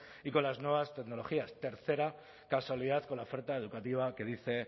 y con las nuevas tecnologías tercera casualidad con la oferta educativa que dice